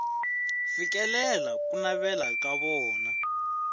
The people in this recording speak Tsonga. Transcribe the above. fikelela ku navela ka vona